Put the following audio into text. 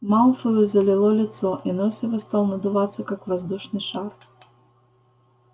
малфою залило лицо и нос его стал надуваться как воздушный шар